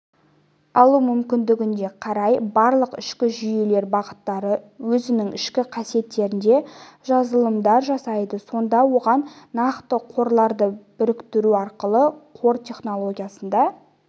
алу мүмкіндігіне қарай барлық ішкі жүйелер бағыттары өзінің ішкі кестелерінде жазылымдар жасайды сонда оған нақты қорларды біріктіру арқылы қор технологиясында